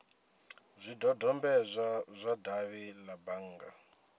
zwidodombedzwa zwa davhi la bannga